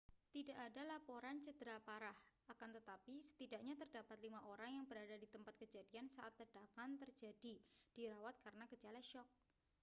tidak ada laporan cedera parah akan tetapi setidaknya terdapat lima orang yang berada di tempat kejadian saat ledakan terjadi dirawat karena gejala syok